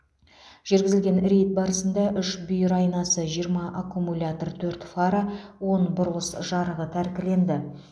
жүргізілген рейд барысында үш бүйір айнасы жиырма аккумулятор төрт фара он бұрылыс жарығы тәркіленді